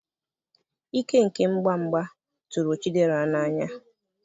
ike nke mgba mgba tụrụ chidera n'anya